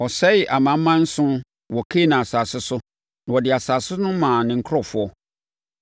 Ɔsɛee amanaman nson wɔ Kanaan asase so na ɔde asase no maa ne nkurɔfoɔ,